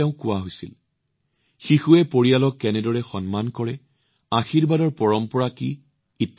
শিশুৱে পৰিয়ালৰ ভিতৰত ইজনে সিজনক কেনেদৰে সন্মান কৰে আশীৰ্বাদৰ পৰম্পৰা কি